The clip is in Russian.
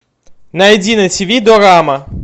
найди на тиви дорама